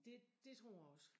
Det dét tror jeg også